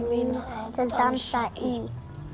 mína að dansa í